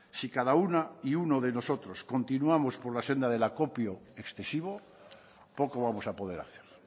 si cada una y uno de nosotros continuamos por la senda del acopio excesivo poco vamos a poder hacer